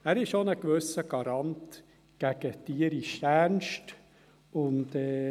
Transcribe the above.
Er ist auch ein gewisser Garant gegen den tierischen Ernst.